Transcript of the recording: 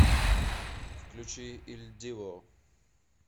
включи иль диво